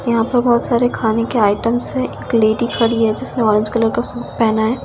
यहां पे बहुत सारे खाने के आइटम है एक लेडी खड़ी है जिसने ऑरेंज कलर का सूट पहना है।